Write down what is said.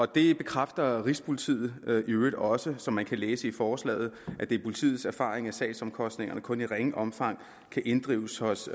det bekræfter rigspolitiet i øvrigt også som man kan læse i forslaget er det politiets erfaring at sagsomkostningerne kun i ringe omfang kan inddrives hos